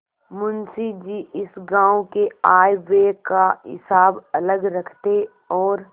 मुंशी जी इस गॉँव के आयव्यय का हिसाब अलग रखते और